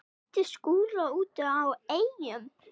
Mætti Skúla úti á Eyjum.